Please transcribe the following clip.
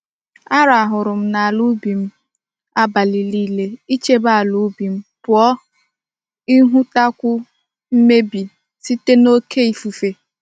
Arahuru m n'ala ubi m m abali nile, ichebe ala ubi m puo nihutakwu mmebi site n'oke ikuku.